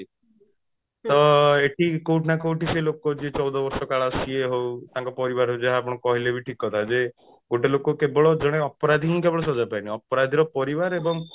ତ ଏଠି କୋଉଠି ନା କୋଉଠି ସେ ଲୋକ ଯିଏ ଚଉଦ ବର୍ଷ କାଳ ସିଏ ହଉ ତାଙ୍କ ପରିବାରରେ ଯାହା ଆପଣ କହିଲେ ବି ଠିକ କଥା ଯେ ଗୋଟେ ଲୋକ କେବଳ ଜଣେ ଅପରାଧୀ ହିଁ କେବଳ ସଜ୍ଜା ପାଏନି ଅପରାଧୀର ପରିବାର ଏବଂ